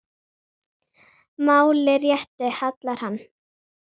máli réttu hallar hann